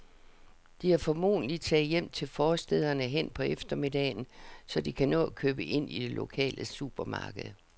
De er formentlig taget hjem til forstæderne hen på eftermiddagen, så de kan nå at købe ind i det lokale supermarked.